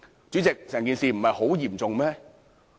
主席，整件事不嚴重嗎？